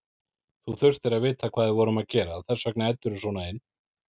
Þú þurftir að vita hvað við vorum að gera, þess vegna æddirðu svona inn.